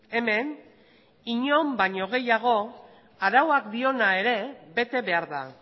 hemen inon baino gehiago arauak diona ere bete behar da